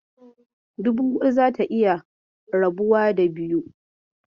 Dubu huɗu zata iya rabuwa da biyu.